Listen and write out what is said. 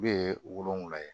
Bɛɛ ye wolonfula ye